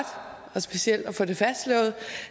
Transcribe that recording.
det specielt er få det fastslået